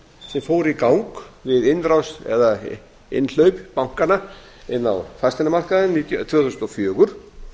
sem fór í gang við innrás eða innhlaup bankanna inn á fasteignamarkaðinn tvö þúsund og fjögur